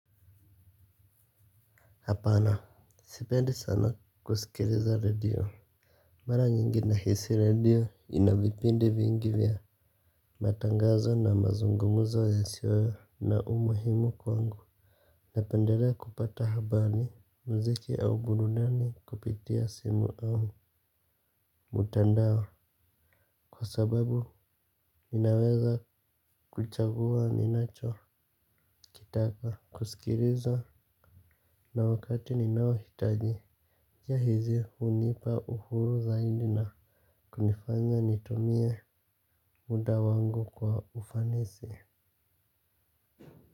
Hapana. Sipendi sana kuskiliza redio. Mara nyingi na hisi redio inavipindi vingi vya matangazo na mazungumuzo yasiyo na umuhimu kwangu. Napendelea kupata habari mziki au burudani kupitia simu au Mutandao. Kwa sababu ninaweza kuchagua ninacho kitaka kuskiliza na wakati ninao hitaji. Jia hizi unipa uhuru zaidi na kunifanya nitumia muda wangu kwa ufanisi.